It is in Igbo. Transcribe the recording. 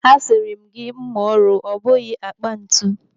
A siri m gị mma ọrụ, ọ bụghị akpa ntu.